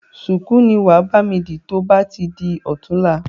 ṣùkú ni wàá bami di to bá ti di ọ̀tunla.